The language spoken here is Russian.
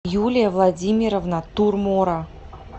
юлия владимировна турмора